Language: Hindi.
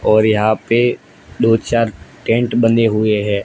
और यहां पे दो चार टेंट बने हुए हैं।